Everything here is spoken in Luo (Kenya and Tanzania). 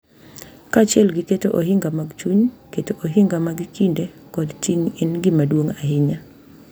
Kaachiel gi keto ohinga mag chuny, keto ohinga mag kinde kod ting’ en gima duong’ ahinya.